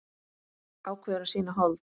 Ákveður að sýna hold.